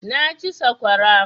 Na ci saƙwara